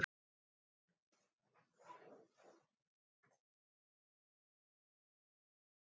Þau göng voru um tíu metra yfir sjávarmáli.